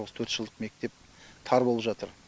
осы төрт жылдық мектеп тар болып жатыр